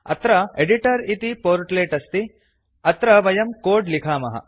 अत्र एडिटर इति पोर्ट्लेट् अस्ति अत्र वयं कोड् लिखामः